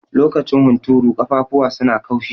Lokacin hunturu, ƙafafuwa su na kaushi.